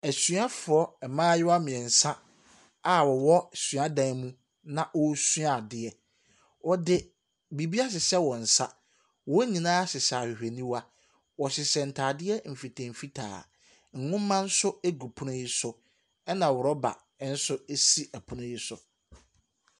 Asuafoɔ mmayewa mmiɛnsa a wɔwɔ suadan mu na wɔresua adeɛ. Wɔde biribi ahyehyɛ wɔn nsa. Wɔn nyinaa hyehyɛ ahwehwɛniwa. Wɔhyehyɛ ntaadeɛ mfitamfitaa. Nwoma gu pono no so, ɛna rubber nso si ɛpono no so.